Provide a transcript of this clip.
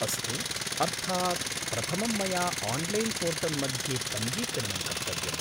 अस्तु, अर्थात् प्रथमं मया आन्लैन् पोर्टल् मध्ये पञ्जीकरणं कर्तव्यम्।